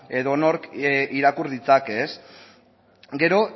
edonork irakur ditzake gero